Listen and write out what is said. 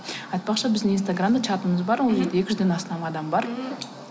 айтпақшы біздің инстаграмда чатымыз бар ол жерде екі жүзден астам адам бар ммм